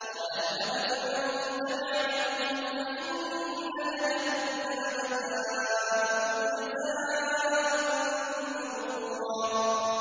قَالَ اذْهَبْ فَمَن تَبِعَكَ مِنْهُمْ فَإِنَّ جَهَنَّمَ جَزَاؤُكُمْ جَزَاءً مَّوْفُورًا